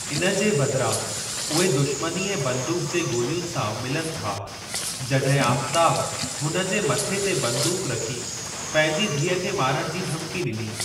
इन जे बदिरां उहे दुश्मनी ऐं बंदूक जे गोलियुनि सां मिलनि था जॾहिं आफ़ताब हुन जे मथे ते बंदूक रखी, पंहिंजी धीअ खे मारण जी धमकी ॾिनी।